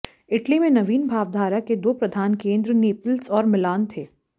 Italy में नवीन भावधारा के दो प्रधान केंद्र नेपल्स और मिलान थे